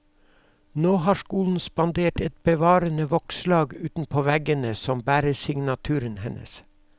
Nå har skolen spandert et bevarende vokslag utenpå veggene som bærer signaturen hennes.